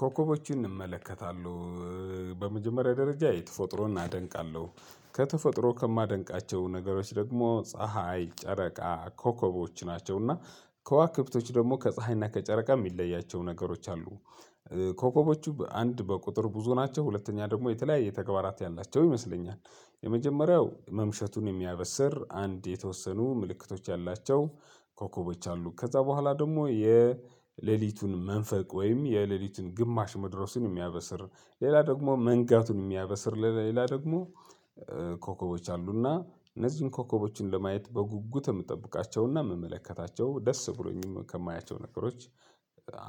ኮከቦችን እመለከታለሁ። በመጀመሪያ ደረጃ የተፎጥሮን አደንቃለሁ ከተፈጥሮ ከማደንቃቸው ነገሮች ደግሞ ፀሀይ ጨረቃ ኮከቦች ናቸው። እና ከዋክብቶች ደግሞ ከፀሀይና ከጨረቃ የሚለያቸው ነገሮች አሉ። ኮከቦቹ በአንድ በቁጥር ብዙ ናቸው ሁለተኛ ደግሞ የተለያየ ተግባራት ያላቸው ይመስለኛል። የመጀመሪያው መምሸቱን የሚያበስር አንድ የተወሰኑ ምልክቶች ያላቸው ኮከበች አሉ። ከዛ በኋላ ደግሞ የሌሊቱን መንፈቅ ወይም የሌሊቱን ግማሽ መድረሱን የሚያበስር ሌላ ደግሞ መንጋቱን የሚያበስር ሌላ ደግሞ። ኮከቦች አሉና እነዚህን ኮከቦችን ለመያት በጉጉት የምጠብቃቸውና የምመለከታቸው ደስ ብሎኝም ከማያቸው ነገሮች